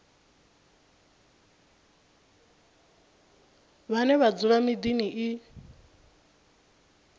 vhane vha dzula miḓini i